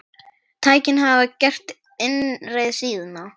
Tæknin hafði gert innreið sína.